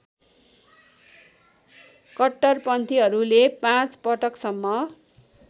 कट्टरपन्थीहरूले पाँच पटकसम्म